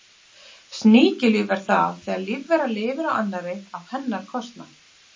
Sníkjulíf er það þegar lífvera lifir á annarri á hennar kostnað.